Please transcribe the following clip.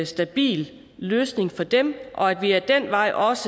stabil løsning for dem og at vi ad den vej også